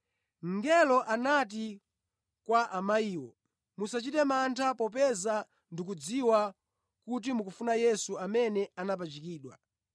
Mngelo anati kwa amayiwo, “Musachite mantha popeza ndikudziwa kuti mukufuna Yesu amene anapachikidwa.